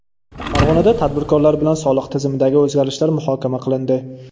Farg‘onada tadbirkorlar bilan soliq tizimidagi o‘zgarishlar muhokama qilindi.